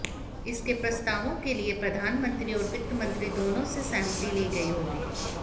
इसके प्रस्तावों के लिए प्रधानमंत्री और वित्त मंत्री दोनों से सहमति ली गई होगी